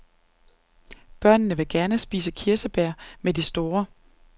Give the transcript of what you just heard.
Børnene vil gerne spise kirsebær med de store.